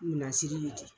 Minan siri bi di